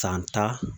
San tan